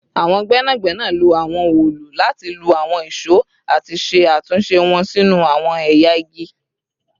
Awọn gbẹnagbẹna lo awọn òòlù lati lu awọn ìṣó ati ṣe atunṣe wọn sinu awọn ẹya igi